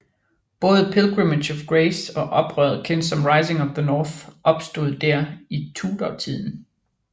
Både Pilgrimage of Grace og oprøret kendt som Rising of the North opstod der i Tudortiden